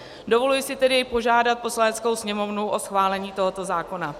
Dovoluji si tedy požádat Poslaneckou sněmovnu o schválení tohoto zákona.